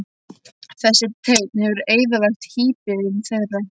Þessi teinn hefur eyðilagt híbýlin þeirra.